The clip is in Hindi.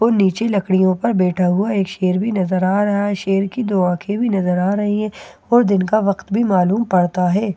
और नीचे लकड़ियों पर बैठा हुआ एक शेर भी नजर आ रहा है शेर की दो आंखें भी नजर आ रही है और दिन का वक्त भी मालूम पड़ता है।